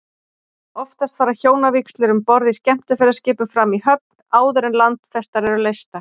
Oftast fara hjónavígslur um borð í skemmtiferðaskipum fram í höfn, áður en landfestar eru leystar.